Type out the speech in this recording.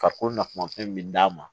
Ka ko nafama fɛn min d'a ma